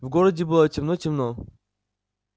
в городе было темным-темно